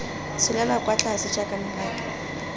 tsholelwa kwa tlase jaaka mabaka